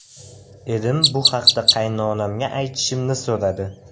Erim bu haqda qaynonamga aytishimni so‘radi.